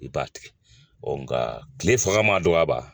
I b'a tigɛ nka kile fanga mana dɔgɔya ka ban